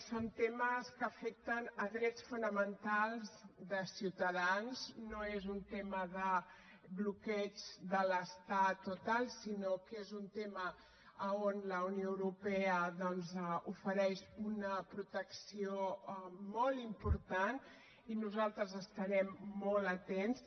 són temes que afecten drets fonamentals de ciutadans no és un tema de bloqueig de l’estat o tal sinó que és un tema on la unió europea doncs ofereix una protecció molt important i nosaltres hi estarem molt atents